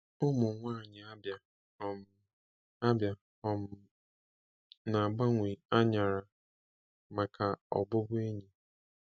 Ụmụ nwanyị Abia um Abia um na-agbanwe anyara maka ọbụbụ enyi